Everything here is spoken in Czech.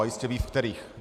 A jistě ví, ve kterých.